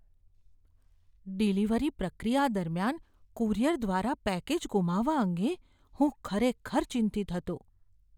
Delivery પ્રક્રિયા દરમિયાન courier દ્વારા પેકેજ ગુમાવવા અંગે હું ખરેખર ચિંતિત હતો.